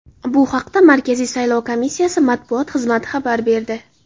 Bu haqda Markaziy saylov komissiyasi matbuot xizmati xabar berdi .